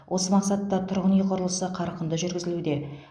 осы мақсатта тұрғын үй құрылысы қарқынды жүргізілуде